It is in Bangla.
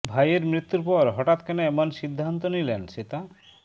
ভাইয়ের মৃত্যুর পর হঠাৎ কেন এমন সিদ্ধান্ত নিলেন শ্বেতা